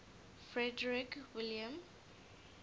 frederick william